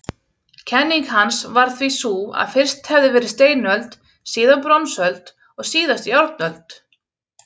Kenning hans var því sú að fyrst hefði verið steinöld, síðan bronsöld og síðast járnöld.